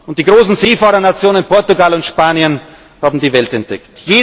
Und die großen Seefahrernationen Portugal und Spanien haben die Welt entdeckt.